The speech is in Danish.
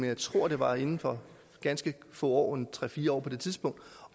jeg tror det var inden for ganske få år tre fire år på det tidspunkt